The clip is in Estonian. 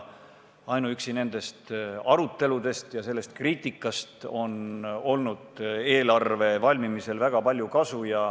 Ainuüksi nendest aruteludest ja tehtud kriitikast on olnud eelarve valmimisel väga palju kasu.